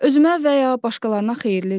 Özümə və ya başqalarına xeyirlidir?